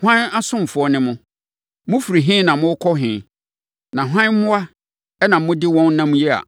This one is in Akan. ‘Hwan asomfoɔ ne mo? Mofiri he na morekɔ he na hwan mmoa na mode wɔn nam yi a,’